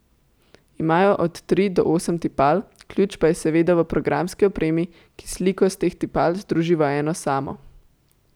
Imajo od tri do osem tipal, ključ pa je seveda v programski opremi, ki sliko s teh tipal združi v eno samo.